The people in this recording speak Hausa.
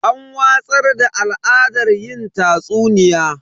An watsar da al'adar yin tatsuniya.